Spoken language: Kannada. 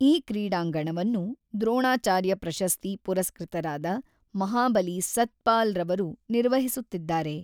ಈ ಕ್ರೀಡಾಂಗಣವನ್ನು ದ್ರೋಣಾಚಾರ್ಯ ಪ್ರಶಸ್ತಿ ಪುರಸ್ಕೃತರಾದ ಮಹಾಬಲಿ ಸತ್ಪಾಲ್‌ರವರು ನಿರ್ವಹಿಸುತ್ತಿದ್ದಾರೆ.